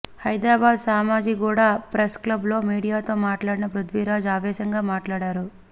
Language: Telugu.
హైదరాబాద్ సోమాజిగూడ ప్రెస్ క్లబ్లో మీడియాతో మాట్లాడిన పృథ్వీరాజ్ ఆవేశంగా మాట్లాడారు